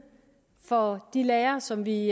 for de lærere som vi